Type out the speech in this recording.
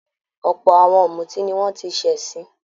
Ọ̀pọ̀ àwọn ọ̀mútí ni wọ́n ti ṣẹ̀sín.